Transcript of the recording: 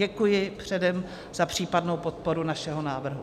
Děkuji předem za případnou podporu našeho návrhu.